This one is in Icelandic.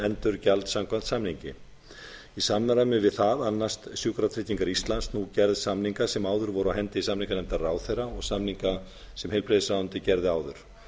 endurgjald samkvæmt samningi í samræmi við það annast sjúkratryggingar íslands nú gerð samninga sem áður voru á hendi samninganefndar ráðherra og samninga sem heilbrigðisráðuneytið gerði áður